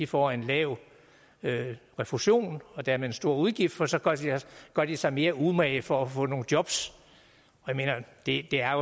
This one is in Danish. får en lav refusion og dermed en stor udgift for så gør de sig mere umage for at få nogle jobs jeg mener det er